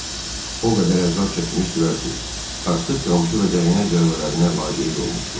O qədər əzab çəkmişdilər ki, artıq qamçı və dəyənək zərbələrinə laqeyd olmuşdular.